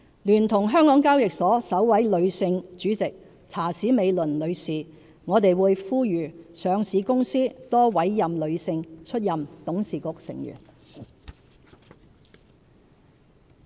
聯同香港交易及結算所有限公司首位女性主席查史美倫女士，我們會呼籲上市公司多委任女性出任董事局成員。